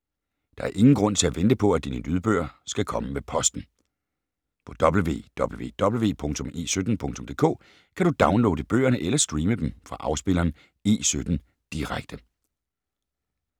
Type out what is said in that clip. Der er ingen grund til at vente på, at dine lydbøger skal komme med posten. På www.e17.dk kan du downloade bøgerne eller streame dem fra afspilleren E17 Direkte.